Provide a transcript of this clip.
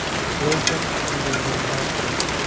Lekin unday bo‘lmayapti.